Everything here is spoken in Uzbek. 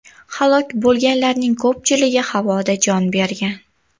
Halok bo‘lganlarning ko‘pchiligi havoda jon bergan.